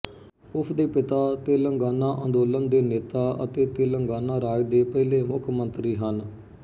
ਉਸ ਦੇ ਪਿਤਾ ਤੇਲੰਗਾਨਾ ਅੰਦੋਲਨ ਦੇ ਨੇਤਾ ਅਤੇ ਤੇਲੰਗਾਨਾ ਰਾਜ ਦੇ ਪਹਿਲੇ ਮੁੱਖ ਮੰਤਰੀ ਹਨ